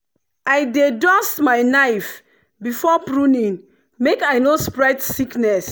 i dey dust my knife before pruning make i no spread sickness.